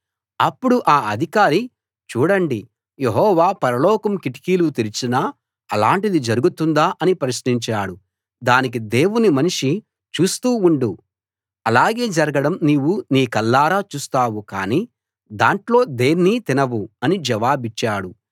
అప్పుడు ఆ అధికారి చూడండి యెహోవా పరలోకం కిటికీలు తెరిచినా అలాంటిది జరుగుతుందా అని ప్రశ్నించాడు దానికి దేవుని మనిషి చూస్తూ ఉండు అలాగే జరగడం నీవు నీ కళ్ళారా చూస్తావు కానీ దాంట్లో దేన్నీ తినవు అని జవాబిచ్చాడు